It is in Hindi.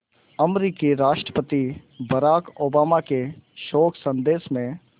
अमरीकी राष्ट्रपति बराक ओबामा के शोक संदेश में